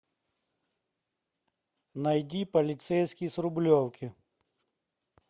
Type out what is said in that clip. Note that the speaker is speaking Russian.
найди полицейский с рублевки